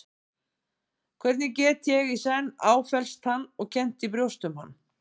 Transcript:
Hvernig get ég í senn áfellst hann og kennt í brjósti um hann?